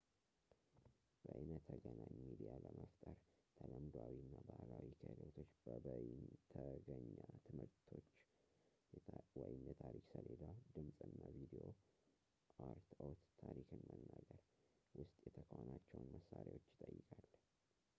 በይነተገናኝ ሚዲያ ለመፍጠር ተለምዶአዊ እና ባህላዊ ክህሎቶች በበይነተገኛ ትምህርቶቾ የታሪክ ሰሌዳ፣ ድምጽ እና ቪድዮ አርትዖት፣ ታሪክን መናገር ውስጥ የተካኗቸውን መሳሪያዎችን ይጠይቃል